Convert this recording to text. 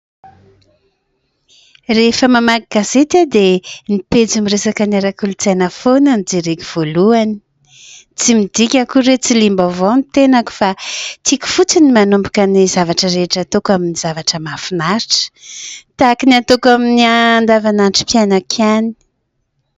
Rehefa mamaky gazety, dia ny pejy miresaka ny ara-kolotsaina foana no jerena voalohany. Tsy midika akory hoe tsy liam-baovao ny tenako fa tiako fotsiny ny manomboka ny zavatra rehetra ataoko amin'ny zavatra mahafinaritra, tahaka ny ataoko amin'ny andavanandrom-painako ihany.